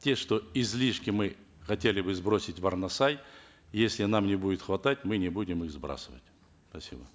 те что излишки мы хотели бы сбросить в арнасай если нам не будет хватать мы не будем их сбрасывать спасибо